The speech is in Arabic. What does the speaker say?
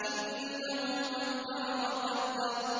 إِنَّهُ فَكَّرَ وَقَدَّرَ